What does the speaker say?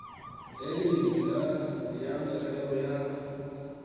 le nngwe ya merero ya